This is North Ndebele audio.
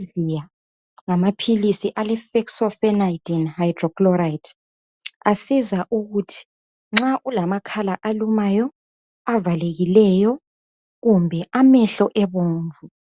Allevia ngamapills alefexofenadine hydrochloride asiza ukuthi nxa ulamakhala alumayo amehlo avalekileyo kumbe